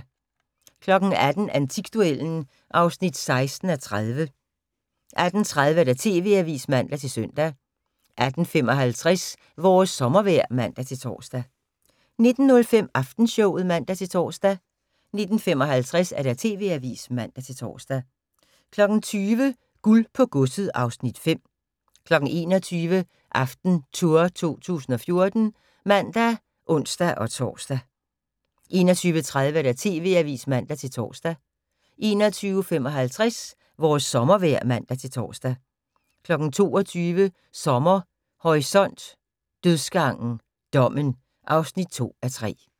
18:00: Antikduellen (16:30) 18:30: TV-avisen (man-søn) 18:55: Vores sommervejr (man-tor) 19:05: Aftenshowet (man-tor) 19:55: TV-avisen (man-tor) 20:00: Guld på godset (Afs. 5) 21:00: AftenTour 2014 (man og ons-tor) 21:30: TV-avisen (man-tor) 21:55: Vores sommervejr (man-tor) 22:00: Sommer Horisont: Dødsgangen – Dommen (2:3)